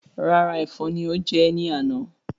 Rárá èfọn ni ó jẹ ẹ ní àná